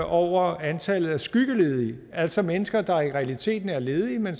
over antallet af skyggeledige altså mennesker der i realiteten er ledige men